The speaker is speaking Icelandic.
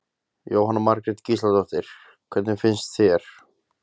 Jóhanna Margrét Gísladóttir: Hvernig fannst þér?